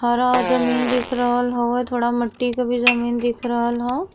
हरा औ जमीन दिख रहल हउवे। थोड़ा मट्टी के भी जमीन दिख रहल ह।